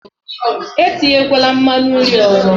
Etinyekwala nmanu nri ọzọ!